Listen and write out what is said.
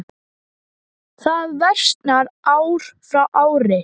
Það versnar ár frá ári.